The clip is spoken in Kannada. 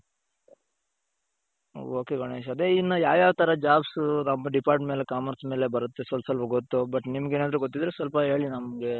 ok ಗಣೇಶ್ ಅದೇ ಇನ್ನ ಯಾವ್ ಯಾವ್ ತರ jobsಸು ನಮ್ಮ depart ಮೇಲೆ commerce ಮೇಲೆ ಬರುತ್ತೆ ಸ್ವಲ್ಪ ಸ್ವಲ್ಪ ಗೊತ್ತು but ನಿಮಗೇನಾದ್ರು ಗೊತ್ತಿದ್ರೆ ಸ್ವಲ್ಪ ಹೇಳಿ ನಮ್ಗೆ.